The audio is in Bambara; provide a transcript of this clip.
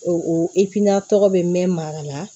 O o tɔgɔ bɛ mɛn mara la